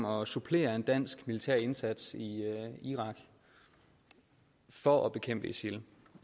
om at supplere en dansk militær indsats i irak for at bekæmpe isil